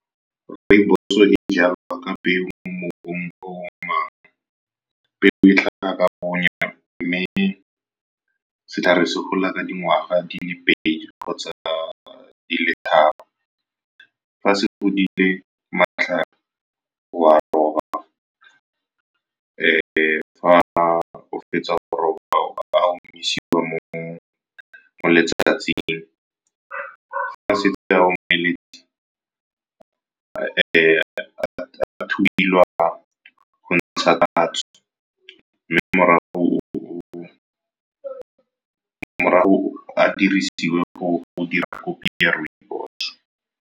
Rooibos e jalwa ka peu mo mobung o . Peo e tla ka bonya mme setlhare se gola ka dingwaga di le pedi kgotsa di tharo. Fa se godile matlhare, wa roba. Fa o fetsa go roba, a omisiwa mo letsatsing. Ga setse a omeletse, a thubiwa go ntsha tatso mme morago a dirisiwe go dira kopi ya rooibos.